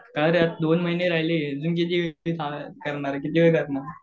का रे? दोन महिने राहिले किती वेळ